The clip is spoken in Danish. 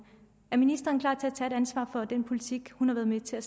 er ministeren klar til at tage et ansvar for den politik hun har været med til at